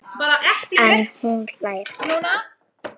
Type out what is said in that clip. En hún hlær ekki.